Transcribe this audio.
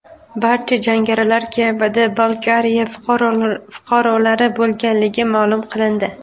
Barcha jangarilar Kabarda-Balkariya fuqarolari bo‘lganligi ma’lum qilindi.